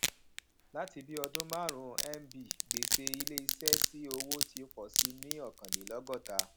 láti bí ọdún márùnún nb gbèsè ilé iṣẹ sí owó ti pọsi ní ọkànlélọgọta